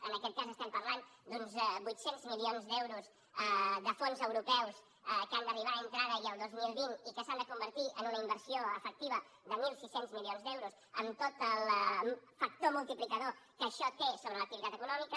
en aquest cas estem parlant d’uns vuit cents milions d’euros de fons europeus que han d’arribar entre ara i el dos mil vint i que s’han de convertir en una inversió efectiva de mil sis cents milions d’euros amb tot el factor multiplicador que això té sobre l’activitat econòmica